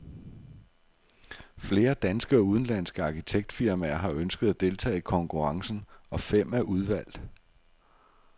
Flere danske og udenlandske arkitektfirmaer har ønsket at deltage i konkurrencen, og fem er udvalgt.